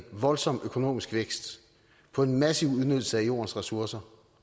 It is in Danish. voldsom økonomisk vækst på en massiv udnyttelse af jordens ressourcer